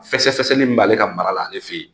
Fɛsɛfɛsɛli min b'ale ka mara la ale fɛ yen